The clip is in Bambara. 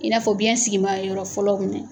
I n'a fɔ biɲɛ sigima ye yɔrɔ fɔlɔw minɛ.